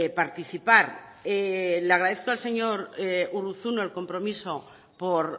participar le agradezco al señor urruzuno el compromiso por